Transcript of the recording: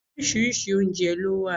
Oríṣiríṣi oúnjẹ ló wà